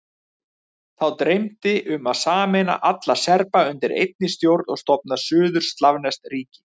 Þá dreymdi um að sameina alla Serba undir einni stjórn og stofna suður-slavneskt ríki.